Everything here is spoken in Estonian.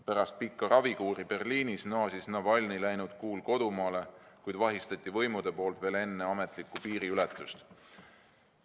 Pärast pikka ravikuuri Berliinis naasis Navalnõi läinud kuul kodumaale, kuid võimud vahistasid ta veel enne ametlikku piiriületust.